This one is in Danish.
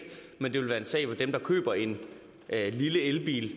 men det vil være en sag hvor dem der køber en lille elbil